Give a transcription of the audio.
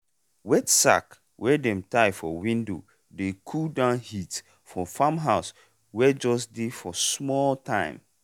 wet sack wey dem tie for window dey cool down heat for farm house wey jus dey for small time.